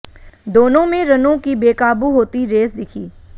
दोनों में रनों की बेकाबू होती रेस दिखी